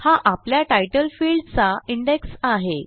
हा आपल्या तितले फील्ड चा इंडेक्स आहे